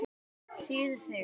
Þýð. Sig.